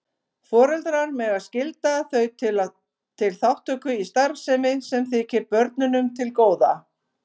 Foreldrar mega skylda þau til þátttöku í starfsemi sem þykir börnunum til góða.